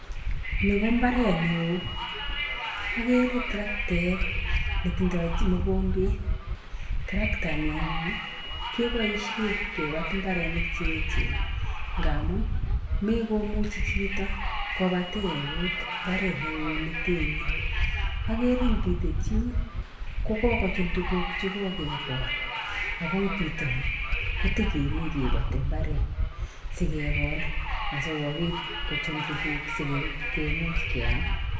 Nii ko imbaret neo okere trectaet netindoi mokombet trectait nii anyun keboishen kipoten imbarenik cheechen ngamun mekomuchi chito kopaten eut imbaret neo neten nii, okere en pitet yuun kokokochum tukuk chekokekol ako pitonii kotokomii kipotii imbaret sikekol asikopit kochum tukuku sikemuch keam.